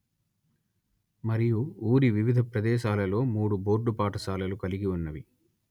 మరియు ఊరి వివిధ ప్రదేశాలలో మూడు బోర్డు పాఠశాలలు కలిగి ఉన్నవి